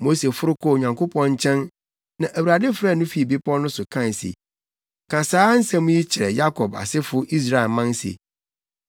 Mose foro kɔɔ Onyankopɔn nkyɛn na Awurade frɛɛ no fii bepɔw no so kae se, “Ka saa nsɛm yi kyerɛ Yakob asefo Israelman se,